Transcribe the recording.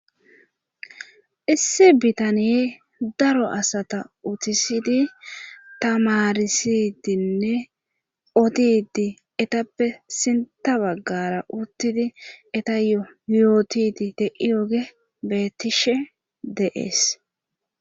Issi bitaniye daro asata utisidi tamarisidinne odidi etappe sinta baggara uttidi eta yo yootidi te'i oge bettishe deees.